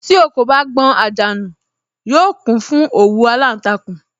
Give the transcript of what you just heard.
Tí ò kò bá gbọn àjà nù, yóò kún fún òwú aláǹtakùn